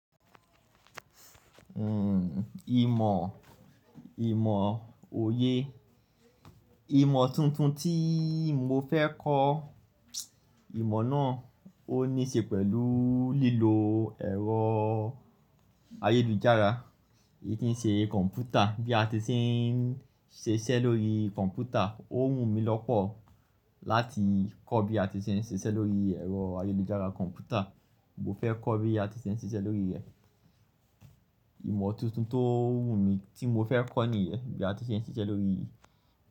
Ìmọ̀, ìmọ̀ òye. Ìmọ̀ tuntun tí mo fẹ́ kọ, ìmọ̀ náà ó ní ṣe pẹ̀lú lílo ẹ̀rọ ayélujára, èyí tí ń ṣe kọ̀ǹpútà bí a ti se ń ṣe iṣẹ́ lórí kọ̀ǹpútà. Ó wù mí lọ́pọ̀ láti kọ́ bí a ti ṣe ń ṣiṣẹ́ lórí ẹ̀rọ ayélujára kọ̀ǹpútà. Mo fẹ́ kọ́ bí a ti ṣe ń ṣiṣẹ́ lórí rẹ̀. Ìmọ̀ tuntun tó wù mí tí mo fẹ́ kọ́ nìyẹn, bí a ti ṣe ń ṣiṣẹ́ lórí.